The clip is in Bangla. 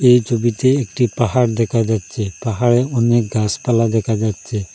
এই ছবিতে একটি পাহাড় দেখা যাচ্ছে পাহাড়ে অনেক গাসপালা দেখা যাচ্ছে।